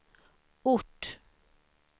ort